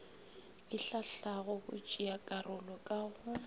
e hlahlago batšeakarolo ka go